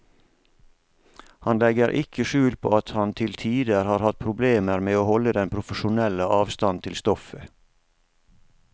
Han legger ikke skjul på at han til tider har hatt problemer med å holde den profesjonelle avstand til stoffet.